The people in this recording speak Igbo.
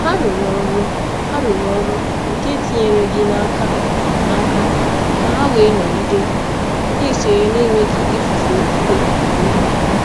Hà rùrù ọrụ nke etinyereghị n’aka n’aka, um ka hà wee um nọgide na-esonye na-enweghị ifufu okwukwe onwe ha. um